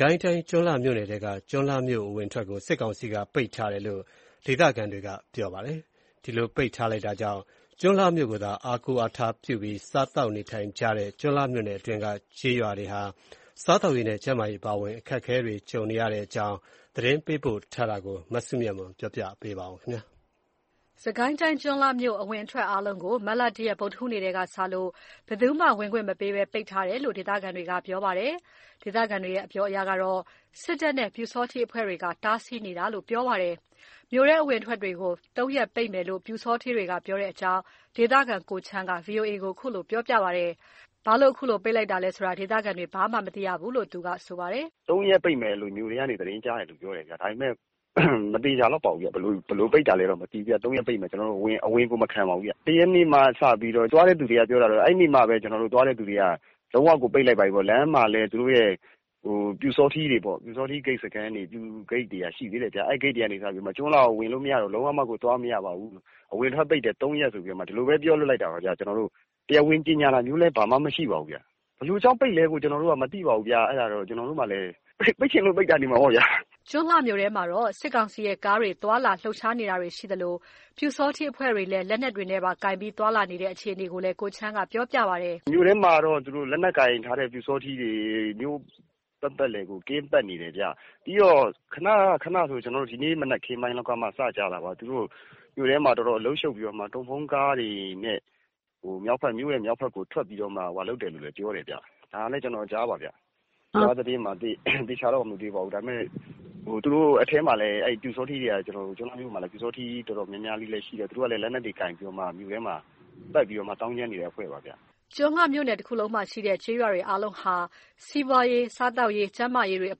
ကိုင်းတိုင်း ကျွန်းလှမြို့နယ်ထဲက ကျွန်းလှမြို့အဝင်အထွက်ကို စစ်ကောင်စီက ပိတ်ထားတယ်လို့ ဒေသခံတွေက ပြောပါတယ်။ ဒီလို ပိတ်လိုက်တာကြောင့် ကျွန်းလှမြို့ကိုသာ အားကိုးအားထားပြုပြီး စားသောက်နေထိုင်ကြရတဲ့ ကျွန်းလှမြို့နယ်အတွင်းက ကျေးရွာတွေဟာ စားသောက်ရေးနဲ့ ကျန်းမာရေးအအပါအဝင် အခက်အခဲတွေကြုံနေကြရတဲ့အကြောင်း သတင်းပေးပို့တာကို မစုမြတ်မွန်က ပြောပြပါမယ်။ စစ်ကိုင်းတိုင်း ကျွန်းလှမြို့ အဝင်အထွက်အားလုံးကို မတ်လ ၁ ရက် ဗုဒ္ဓဟူးနေ့ထဲကစလို့ ဘယ်သူမှ ဝင်ခွင့်မပေးပဲ ပိတ်ထားတယ်လို့ ဒေသခံတွေက ပြောပါတယ်။ ဒေသခံတွေရဲ့ အပြောအရ စစ်တပ်နဲ့ ပျုစောထီးအဖွဲ့တွေက တားဆီးနေတာလို့ ပြောပါတယ်။ မြို့ထဲ အဝင်အထွက်တွေကို ၃ ရက် ပိတ်မယ်လို့ ပျူစောထီးတွေက ပြောတဲ့အကြောင်း ဒေသခံ ကိုချမ်းက VOA ကို ခုလိုပြောပြပါတယ်။ ဘာလို့ အခုလိုပိတ်တာလဲဆိုတာ ဒေသခံတွေ ဘာမှ မသိရဘူးလို့ ပြောပါတယ်။ “၃ ရက်ပိတ်မယ်လို့ မြို့ထဲကနေ သတင်းကြားတယ်လို့တော့ ပြောကြတယ်ဗျ၊ ဒါပေမယ့်လည်း မသေချာလောက်ပါဘူးဗျ။ ဘယ်လိုပိတ်တာလည်းတော့ မသိဘူးဗျ၊ ၃ ရက်ပိတ်မယ် ကျွန်တော်တို့ဝင်ရင် အဝင်ကိုမခံပါဘူးဗျ။ ၁ ရက်နေ့ကစပြီးတော့ အဲ့နေ့က သွားတဲ့သူတွေက လုံးဝကို ပိတ်လိုက်ပါပြီပေါ့၊ လမ်းမှာလည်း သူတို့ရဲ့ ပျူစောထီးဂိတ်စခန်းတွေက ရှိသေးတော့ အဲ့ဂိတ်တွေက ကျွန်းလှကိုဝင်မရတော့ဘူး၊ လုံးဝကို သွားမရတော့ပါဘူး၊ အဝင်အထွက်ပိတ်တယ် ၃ ရက်ဆိုပြီးတော့ ဒီလိုပဲ ပြောလွှတ်လိုက်တာပါဗျ၊ ကျွန်တော်တို့ကို တရားဝင်ကြေညာတာမျိုးလည်း ဘာမှကို မရှိပါဘူးဗျ။ ဘယ်လိုကြောင့်ပိတ်တယ်လို့ကို ကျွန်တော်တို့မသိရပါဘူး၊ ပိတ်ချင်လို့ပိတ်တာနေမှာပေါ့ဗျာ။” ကျွန်းလှမြို့ထဲမှာတော့ စစ်ကောင်စီရဲ့ ကားတွေ သွားလာ လှုပ်ရှားနေတာတွေရှိသလို ပျူစောထီးအဖွဲ့တွေလည်း လက်နက်တွေပါကိုင်ပြီး သွားလာနေတဲ့ အခြေအနေကိုလည်း ကိုချမ်းက ပြောပြပါတယ်။ “မြို့ထဲမှာကတော့ လက်နက်ကိုင်ထားတဲ့ ပျူစောထီးတွေ သူတို့မြို့ပတ်ပတ်လည်ကို ကင်းပတ်နေတယ်ဗျ။ ပြီးတော့ ဒီမနက်ခင်းလောက်ကမှစကြားတာပါဗျ သူတို့မြို့ထဲမှာ တော်တော်အလုပ်ရှုပ်ပြီးတော့မှ ကားတွေနဲ့ မြို့ရဲ့မြောက်ဖက်ကို ထွက်ပြီးတော့မှ လုပ်ကြတယ်လို့လည်း ပြောတယ်ဗျ။ ဒါလည်း ကျွန်တော်အကြားပါဗျ၊ ကျွန်တော်သေချာတော့ မမြင်ရဘူး။ ဒါပေမယ့် အထဲမှာက ကျွန်းလှမြို့ထဲမှာက ပျူစောထီး တော်တော်များများလေးလဲ ရှိတယ်၊ သူတို့က လက်နက်တွေကိုင်ပြီးတော့ မြို့ထဲမှာ တော်တော်သောင်းကျန်းနေတဲ့အဖွဲ့ပါဗျ။” ကျွန်းလှမြို့နယ်တခုလုံးမှာရှိတဲ့ ကျေးရွာတွေ အားလုံးဟာ စီးပွားရေး စားသောက်ရေး ကျန်းမာရေးတွေအ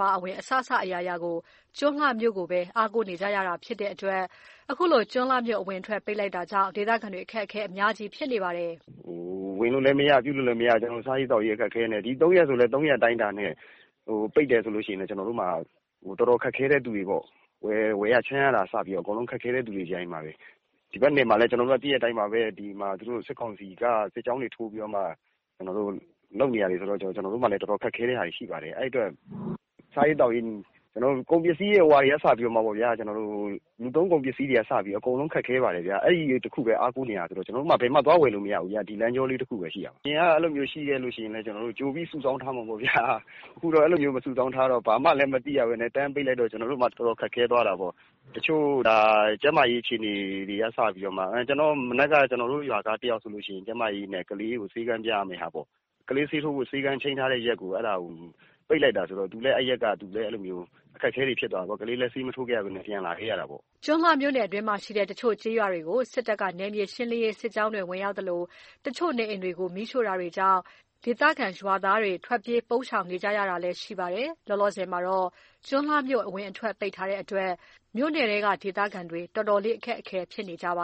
ပါအဝင် အစစအရာရာကို ကျွန်းလှမြို့ကိုပဲ အားကိုးနေရတာဖြစ်တဲ့အတွက် ခုလို ကျွန်းလှမြို့အဝင်အထွက်ပိတ်လိုက်တာကြောင့် ဒေသခံတွေ အခက်အခဲ အများကြီး ဖြစ်နေရပါတယ်။ “ဝင်လို့လဲမရ ပြုလို့လဲမရ သူတို့က ပိတ်ထားတော့ စားရေးသောက်ရေး အခက်အခဲနဲ့ ဒီ ၃ ရက်ဆိုလဲ ၃ ရက် ပိတ်တယ်ဆိုရင် ကျွန်တော်တို့မှာ အတော်ခက်ခဲတဲ့ သူတွေပေါ့။ ဝယ်ရခြမ်းရတာကအစ အကုန်ခက်ခဲတဲ့သူတွေချည်းပါပဲ။ ဒီဖက်နယ်တွေမှာလည်း သိတဲ့အတိုင်းပါဘဲ ကျွန်တော်တို့ဖက်တွေမှာ စစ်ကောင်စီက စစ်ကြောင်တွေ ထိုးပြီးတော့မှ လုပ်နေကြတော့ ကျွန်တော်တို့မှာလည်း တော်တော်ခက်ခဲတာတွေ ရှိပါတယ်။ အဲ့အတွက် ကျွန်တော်တို့ ကုန်ပစ္စည်းတွေက စပြီးတော့မှပေါ့ဗျာ လူသုံးကုန်ပစ္စည်းတွေကအစ အကုန်ခက်ခဲပါတယ်ဗျာ အဲ့ဒီကိုပဲ ကျွန်တော်တို့က အားကိုးနေရတာဆိုတော့ ကျွန်တော်တို့မှာ ဘယ်မှ သွားဝယ်လို့မရဘူးဗျ၊ ဒီလမ်းကြောလေး တစ်ခုပဲ ရှိတာ။ အရင် ကြိုသီရင်လဲ ကျွန်တော်တို့ကြိုပြီးတော့ စုဆောင်းထားကြမှာပေါ့ဗျာ။ ခုက ကြိုလည်း မသိရဘဲ တန်းပြီး ပိတ်လိုက်တော့ ကျွန်တော်တို့မှာ တော်တော်ခက်ခဲသွားတာပေါ့။ တချို့တွေမှာ ကျန်းမာရေး အခြေအနေတွေက စပြီးတော့မှ မနက်ကဆို ကျွန်တော်တို့ ရွာသားတစ်ယောက်ဆိုရင် ကျန်းမာရေးနဲ့ကလေးကို ဆေးခန်းပြရမယ်ဟာပေါ့၊ ကလေးဆေးထိုးဖို့ ဆေးခန်းချိန်းထားတဲ့ရက်ကို အဲ့ဒါကို ဒီလိုပိတ်လိုက်တာဆိုတော့ သူလည်း အခက်အခဲဖြစ်တာပေါ့၊ ကလေးကလည်း ဆေးမထိုးခဲ့ရဘဲ ပြန်လာခဲ့ရတာပေါ့။” ကျွန်းလှမြို့နယ်အတွင်းမှာရှိတဲ့ တချို့ကျေးရွာတွေကို စစ်တပ်က နယ်မြေရှင်းလင်းရေး စစ်ကြောင်းတွေဝင်သလို၊ တချို့ နေအိမ်တွေကို မီးရှို့တာတွေကြောင့် ဒေသခံရွာသားတွေ ထွက်ပြေး ပုန်းရှောင်နေကြရတာလည်း ရှိပါတယ်။ လောလောဆယ်မှာတော့ ကျွန်းလှမြို့ အဝင်အထွက် ပိတ်ထားတဲ့အတွက် မြို့နယ်ထဲက ဒေသခံတွေ တော်တော်လေး အခက်အခဲ ဖြစ်နေကြပ